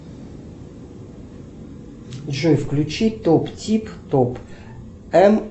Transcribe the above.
джой включи топ тип топ м